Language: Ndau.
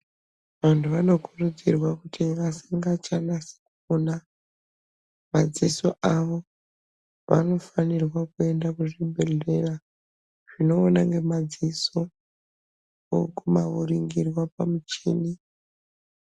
Vantu vanokurudzirwa kuti vasingacha nasi kuona madziso avo vanofanirwa kuenda kuzvibhedhlera zvinoona ngemadziso voguma voringirwa pamuchini